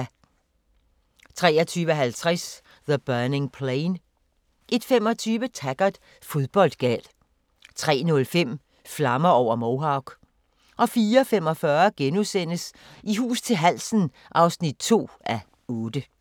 23:50: The Burning Plain 01:25: Taggart: Fodboldgal 03:05: Flammer over Mohawk 04:45: I hus til halsen (2:8)*